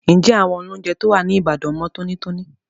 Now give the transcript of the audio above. Ǹjẹ́ àwọn olóúnjẹ tó wà ní Ìbàdàn mọ tónítóní?